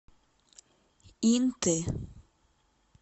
инты